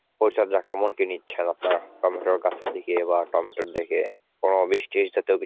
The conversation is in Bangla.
পরিচর্যা কেমন কি নিচ্ছেন, আপনার টমেটো গাছের দিকে বা টমেটোর দিকে ও বৃষ্টি ইষ্টিতে তো কিছু